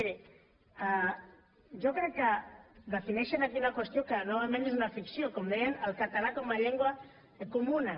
miri jo crec que defineixen aquí una qüestió que novament és una ficció com deien el català com a llengua comuna